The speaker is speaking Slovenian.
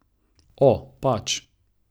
O, pač.